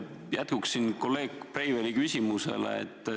Küsin jätkuks kolleeg Breiveli küsimusele.